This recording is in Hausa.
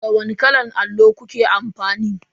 Da wani kalan allo kuke amfani?